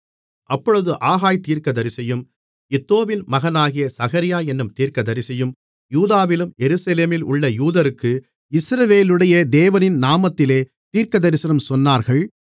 அப்பொழுது ஆகாய் தீர்க்கதரிசியும் இத்தோவின் மகனாகிய சகரியா என்னும் தீர்க்கதரிசியும் யூதாவிலும் எருசலேமிலுமுள்ள யூதருக்கு இஸ்ரவேலுடைய தேவனின் நாமத்திலே தீர்க்கதரிசனம் சொன்னார்கள்